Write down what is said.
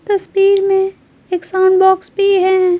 तस्वीर में एक साउंड बॉक्स भी है।